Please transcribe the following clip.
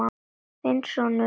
Þinn sonur, Jakob.